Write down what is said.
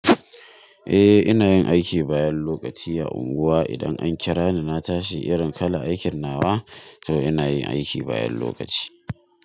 Eh, ina yin aiki bayan lokaci a unguwa. Idan an kira ni na tashi irin kalan aikin nawa, to ina yin aiki bayan lokaci.